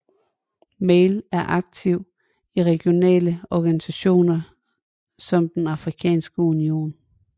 Mali er aktiv i regionale organisationer som den Afrikanske Union